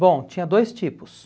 Bom, tinha dois tipos.